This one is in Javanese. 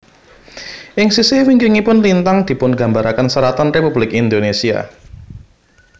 Ing sisih wingkingipun lintang dipungambaraken seratan Republik Indonesia